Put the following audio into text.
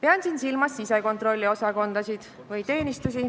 Pean siin silmas sisekontrolliosakondasid või -teenistusi,